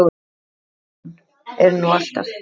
Jón er nú alltaf